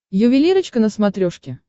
ювелирочка на смотрешке